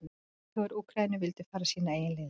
Leiðtogar Úkraínu vildu fara sínar eigin leiðir.